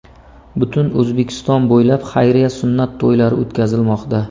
Butun O‘zbekiston bo‘ylab xayriya sunnat to‘ylari o‘tkazilmoqda.